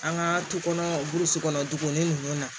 An ka tu kɔnɔ burusi kɔnɔ duguni ninnu na